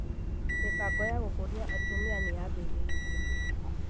Mĩbango ya gũkũria atumia nĩyambĩrĩirio